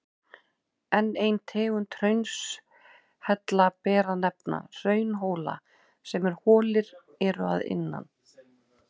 Enn eina tegund hraunhella ber að nefna, hraunhóla sem holir eru innan.